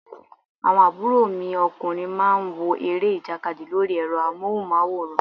Àwọn àbúrò mi ọkùnrin má ń wo eré ìjàkadì lórí ẹ̀rọ amóhùn máwòrán